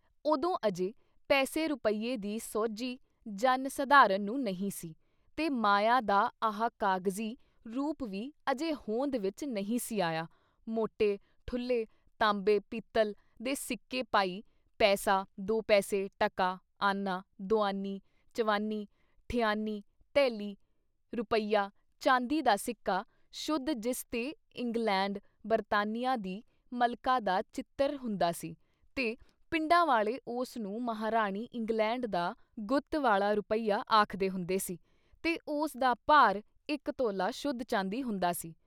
ਉਦੋਂ ਅਜੇ ਪੈਸੇ ਰੁਪਈਏ ਦੀ ਸੋਝੀ ਜਨ ਸਾਧਾਰਨ ਨੂੰ ਨਹੀਂ ਸੀ, ਤੇ ਮਾਇਆ ਦਾ ਆਹ ਕਾਗਜ਼ੀ ਰੂਪ ਵੀ ਅਜੇ ਹੋਂਦ ਵਿੱਚ ਨਹੀਂ ਸੀ ਆਇਆ ਮੋਟੇ, ਠੁੱਲ੍ਹੇ ਤਾਂਬੇ- ਪਿੱਤਲ ਦੇ ਸਿੱਕੇ-ਪਾਈ, ਪੈਸਾ, ਦੋ ਪੈਸੇ, ਟਕਾ, ਆਨਾ, ਦੁਆਨੀ, ਚਵਾਨੀ, ਠਿਆਨੀਂ, ਧੇਲੀ, ਰੁਪਈਆ, ਚਾਂਦੀ ਦਾ ਸਿੱਕਾ, ਸ਼ੁੱਧ ਜਿਸ ਤੇ ਇੰਗਲੈਂਡ, ਬਰਤਾਨੀਆਂ ਦੀ ਮਲਕਾ ਦਾ ਚਿਤ੍ਰ ਹੁੰਦਾ ਸੀ ਤੇ ਪਿੰਡਾਂ ਵਾਲੇ ਉਸ ਨੂੰ ਮਹਾਂਰਾਣੀ ਇੰਗਲੈਂਡ ਦਾ ਗੁੱਤ ਵਾਲ਼ਾ ਰੁਪਈਆ ਆਖਦੇ ਹੁੰਦੇ ਸੀ ਤੇ ਉਸ ਦਾ ਭਾਰ ਇੱਕ ਤੋਲਾ ਸ਼ੁੱਧ ਚਾਂਦੀ ਹੁੰਦਾ ਸੀ।